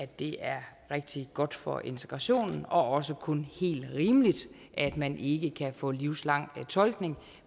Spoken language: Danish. det er rigtig godt for integrationen og også kun helt rimeligt at man ikke kan få livslang tolkning